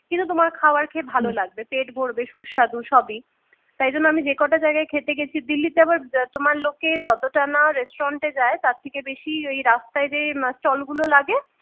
কিন্তু তোমার খাবার খেয়ে ভালো লাগবে পেট ভরবে সুস্বাদু সবই তাই জন্য আমি যে কটা জায়গায় খেতে গেছি দিল্লিতে আবার তোমার লোকে যতটা না restaurant যায় তার থেকে বেশি ওই রাস্তায় যেই stall গুলো লাগে